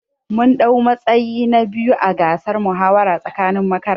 Mun dau matsayi na biyu ã gasar muhawara tsakanin makaranta.